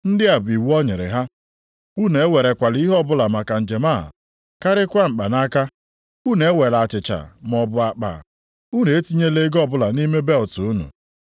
Ndị a bụ iwu o nyere: “Unu ewerekwala ihe ọbụla maka njem a, karịkwa mkpanaka. Unu ewela achịcha, maọbụ akpa, unu etinyela ego ọbụla nʼime belịt unu.